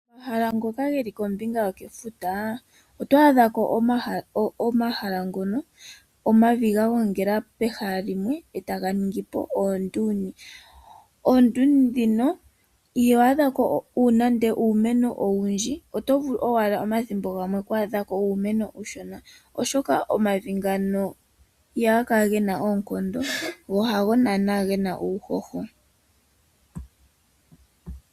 Omahala ngoka geli kombinga yokefuta, oto adhako omahala ngoka gena omavi giigongela mondumba onene yothike oondundu. Kegongelo lyevi huka ihaku adhika iimeno oyindji oshoka ohaga kala gena uuhoho.